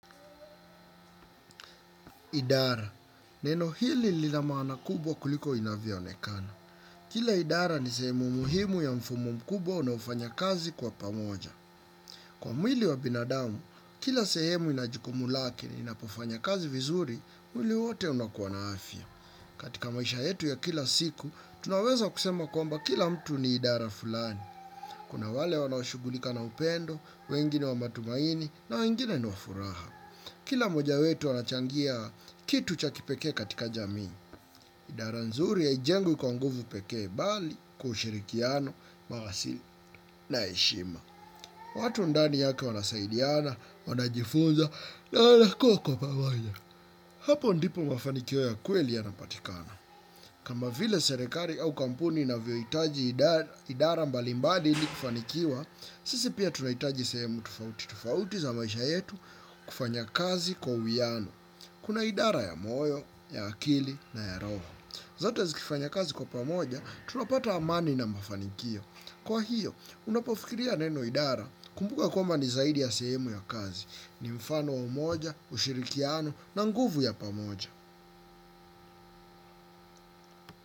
Idara. Neno hili lila maana kubwa kuliko inavyo onekana. Kila idara ni sehemu muhimu ya mfumo mkubwa unaofanya kazi kwa pamoja. Kwa mwili wa binadamu, kila sehemu inajukumu lake inapofanya kazi vizuri, mwili wote unakuwa na afya. Katika maisha yetu ya kila siku, tunaweza kusema kwamba kila mtu ni idara fulani. Kuna wale wanashughulika na upendo, wengi ni wa matumaini na wengine niwafuraha. Kila moja wetu anachangia kitu cha kipekee katika jamii. Idara nzuri haijengwi kwa nguvu pekee bali kwa ushirikiano, marasili na heshima. Watu ndani yake wanasaidiana, wanajifunza na wanakuwa kwa pamoja. Hapo ndipo mafanikio yakweli yana patikana. Kama vile serekali au kampuni inavyoitaji idara mbali mbali ili kufanikiwa, sisi pia tunaitaji sehemu tofauti. Tofauti za maisha yetu kufanya kazi kwa uwiano. Kuna idara ya moyo, ya akili na ya roho. Zote zikifanya kazi kwa pamoja, tunapata amani na mafanikio. Kwa hiyo, unapofikiria neno idara kumbuka kwambani zaidi ya sehemu ya kazi. Ni mfano wa umoja, ushirikiano na nguvu ya pamoja.